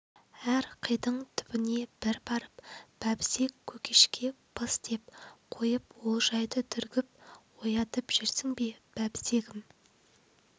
әр қидың түбіне бір барып бәбісек көкекше пыс деп қойып олжайды түргіп оятып жүрсің бе бәбісегім